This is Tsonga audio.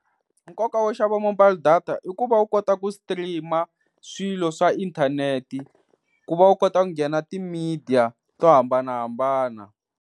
Nkoka wo xava mobile data i ku va u kota ku stream-a swilo swa inthanete ku va u kota ku nghena ti-media to hambanahambana.